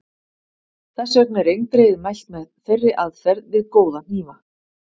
Þess vegna er eindregið mælt með þeirri aðferð við góða hnífa.